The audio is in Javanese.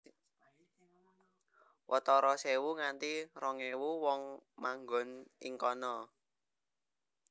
Watara sewu nganti rong ewu wong manggon ing kana